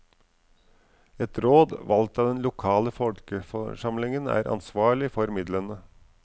Et råd valgt av den lokale folkeforsamlingen er ansvarlig for midlene.